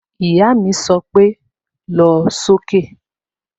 Ìyá mi sọ pé "lọ sókè"